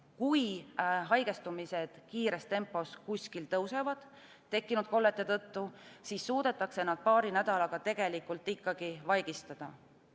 Kui haigestumiste arv kiires tempos kuskil tõuseb – tekkinud kollete tõttu –, siis suudetakse see paari nädalaga vaigistada.